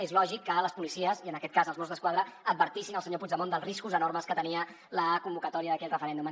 és lògic que les policies i en aquest cas els mossos d’esquadra advertissin el senyor puigdemont dels riscos enormes que tenia la convocatòria d’aquell referèndum